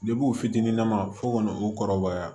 u fitininama fo ka na u kɔrɔbaya